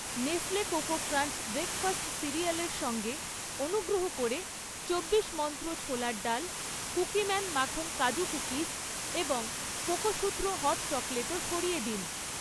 Nestle coco crunch breakfast সিরিয়ালের সঙ্গে, অনুগ্রহ করে চব্বিশ মন্ত্র ছোলার ডাল, কুকিম্যান মাখন কাজু কুকিজ এবং কোকোসুত্র হট চকোলেটও সরিয়ে দিন।